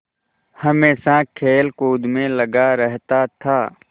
हमेशा खेलकूद में लगा रहता था